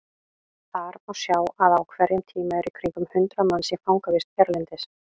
Þar má sjá að á hverjum tíma eru í kringum hundrað manns í fangavist hérlendis.